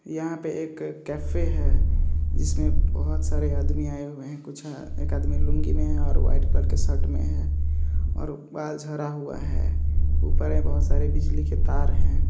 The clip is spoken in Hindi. यहां पे एक कैफे हैं इसमें बहोत सारे आदमी आए हुए हैं कुछ एक आदमी लूंगी में है और व्हाइट कलर के शर्ट में है और अप बाल जरा हुआ हैं ऊपर ये बहोत सारे बिजली के तार हैं।